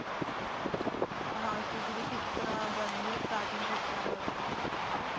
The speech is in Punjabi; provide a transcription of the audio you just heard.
ਹਾਂ ਸੂਜ਼ੀ ਦੀਆ ਕਿਸ ਤਰਾਂ ਬਣਦੀਆਂ starting ਕਿਸ ਤਰਾਂ ਕਰਦੇ ਆ ਉਸ ਦੀ ਜੇ